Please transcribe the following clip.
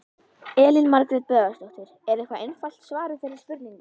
Elín Margrét Böðvarsdóttir: Er eitthvað einfalt svar við þeirri spurningu?